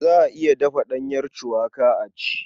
Za a iya dafa ɗanyar cuwaka a ci.